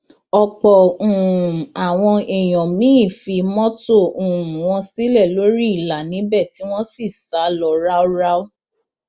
ọpọ um àwọn èèyàn míín fi mọtò um wọn sílẹ lórí ìlà níbẹ tí wọn sì sá lọ ráúráú